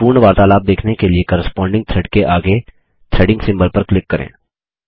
पूर्ण वार्तालाप देखने के लिए कॉरेस्पांडिंग थ्रेड के आगे थ्रेडिंग सिम्बोल पर क्लिक करें